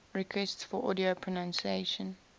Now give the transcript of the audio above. requests for audio pronunciation